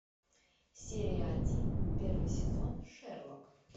серия один первый сезон шерлок